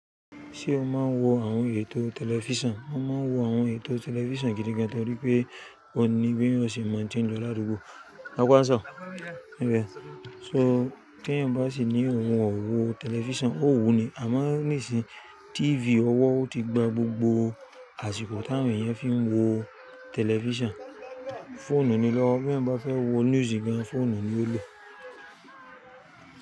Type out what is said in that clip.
Ṣé o máa ń wo àwọn ètò tẹlifíṣàn? A máa ń wo àwọn ètò tẹlifíṣàn gidi gan torí pé kò ní bí ọ ṣe máa n tì í lọ laadugbo. Ọpọ́ aṣọ. Ǹjẹ́ so tí ẹ̀yin bá sì ní òun ò wo tẹlifíṣàn, ó wuni àmọ́ nísìínyi tíífì ọwọ́ ti gba gbogbo àsìkò tí àwọn èèyàn fi ń wo tẹlifíṣàn. Fóònù ni lọ́wọ́ bí ẹ̀yin bá fẹ́ wo news gan, fóònù ni ó le.